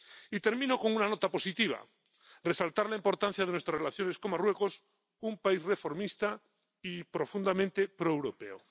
Y termino con una nota positiva resaltar la importancia de nuestras relaciones con Marruecos, un país reformista y profundamente proeuropeo.